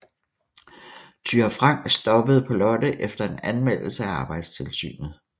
Thyra Frank stoppede på Lotte efter en anmeldelse til arbejdstilsynet